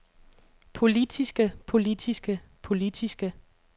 politiske politiske politiske